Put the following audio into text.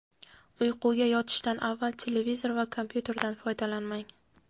Uyquga yotishdan avval televizor va kompyuterdan foydalanmang;.